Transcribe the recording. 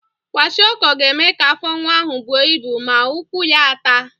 Kwashiọkọ ga-eme ka afọ nwa ahụ buo ibu ma ụkwụ ya a taa.